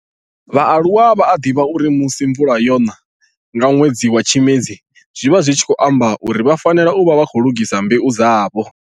vhaaluwa vha a divha uri musi mvula yona nga nwedzi wa Tshimedzi zwi vha zwi tshi khou amba uri vha fanela u vha vha khou lugisa mbeu dzavho.